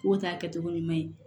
K'o ta kɛcogo ɲuman ye